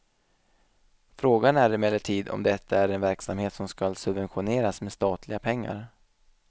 Frågan är emellertid om detta är en verksamhet som skall subventioneras med statliga pengar.